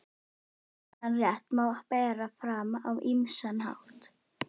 Þennan rétt má bera fram á ýmsan hátt.